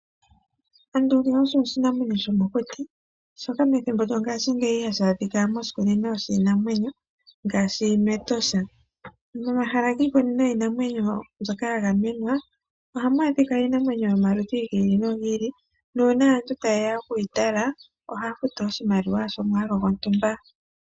Ando ngaye oshinamwenyo sho mokuti shika methimbo lyongashingeyi hashi adhika moshikunino shiinamwenyo ngaashi mEtosha. Momahala giikunino yiinamwenyo mbyoka ya gamenwa, ohamu adhika iinamwenyo yomaludhi gi ili nogi ili. Nuuna aantu taye ya oku yi tala ohaya futu oshimaliwa shomwaalu gontumba.